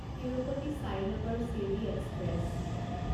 Tirupati Sainagar Shirdi express